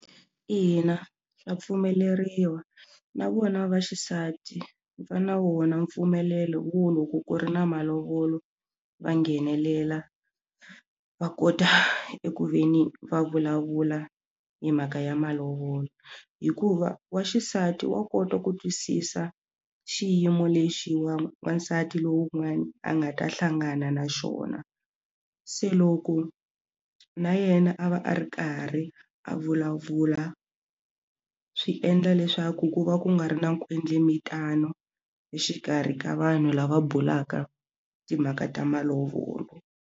Ina, swa pfumeleriwa na vona vaxisati va na wona mpfumelelo wo loko ku ri na malovolo va nghenelela va kota eku ve ni va vulavula hi mhaka ya malovolo hikuva wa xisati wa kota ku twisisa xiyimo lexiwa wansati lowun'wana a nga ta hlangana na xona se loko na yena a va a ri karhi a vulavula swi endla leswaku ku va ku nga ri na nkwetlembetano exikarhi ka vanhu lava bulaka timhaka ta malovolo.